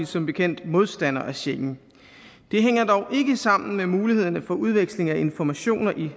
som bekendt modstander af schengen det hænger dog ikke sammen med mulighederne for udveksling af informationer i